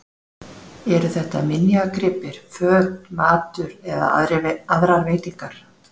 Eru þetta minjagripir, föt, matur eða aðrar veitingar?